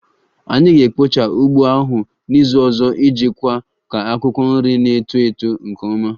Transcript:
Anyị ga-ekpocha ugbo ahụ n'izu ọzọ iji kwe ka akwụkwọ nri na-eto eto nke ọma